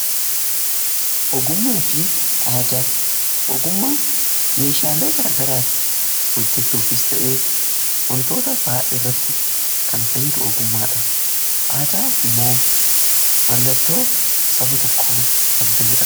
ogummaan meeshaalee gara garaa hojjechuufis ta'ee wantoota baayyee irratti kan fayyadu ogummaadha. aadaa immoo mallattoo saba tokko kan ta'eedha.